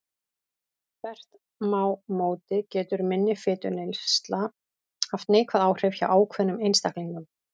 Þvert má móti getur minni fituneysla haft neikvæð áhrif hjá ákveðnum einstaklingum.